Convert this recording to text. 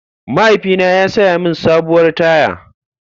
Mahaifina ya saya mini sabuwar taya.